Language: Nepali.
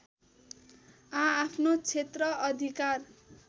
आआफ्नो क्षेत्र अधिकार